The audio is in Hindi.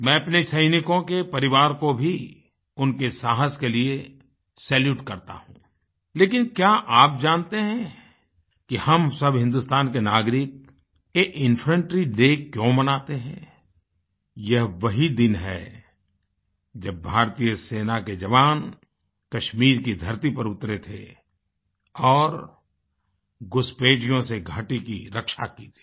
मैं अपने सैनिकों के परिवार को भी उनके साहस के लिए सैल्यूट करता हूँ लेकिन क्या आप जानते हैं कि हम सब हिन्दुस्तान के नागरिक ये इन्फैंट्री डे क्यों मानते हैंयह वही दिन है जब भारतीय सेना के जवान कश्मीर की धरती पर उतरे थे और घुसपैठियों से घाटी की रक्षा की थी